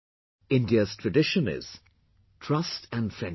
India's tradition is trust and friendship